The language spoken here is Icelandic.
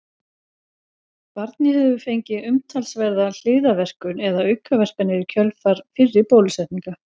Barnið hefur fengið umtalsverða hliðarverkun eða aukaverkanir í kjölfar fyrri bólusetninga.